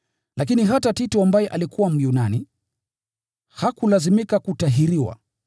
Lakini hata Tito ambaye alikuwa Myunani, hakulazimika kutahiriwa.